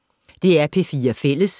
DR P4 Fælles